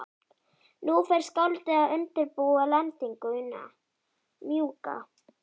Nú fer skáldið að undirbúa lendingu- mjúka.